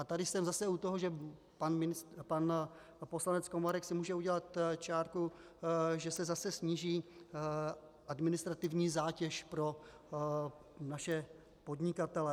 A tady jsem zase u toho, že pan poslanec Komárek si může udělat čárku, že se zase sníží administrativní zátěž pro naše podnikatele.